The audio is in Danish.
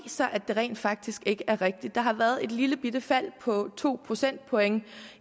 sig at det rent faktisk ikke er rigtigt der har været et lillebitte fald på to procentpoint